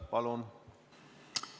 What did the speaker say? Palun!